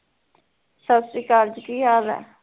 ਸਸਰੀਕਲ ਜੀ ਕੀ ਹਾਲ ਐ